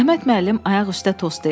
Əhməd müəllim ayaq üstə tost deyirdi.